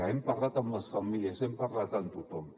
hem parlat amb les famílies hem parlat amb tothom